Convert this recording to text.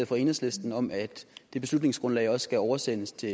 fra enhedslisten om at det beslutningsgrundlag også skal oversendes til